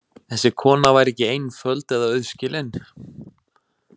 Þessi kona væri ekki einföld eða auðskilin.